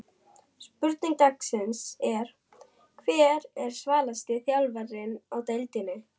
Spurning dagsins er: Hver er svalasti þjálfarinn í deildinni?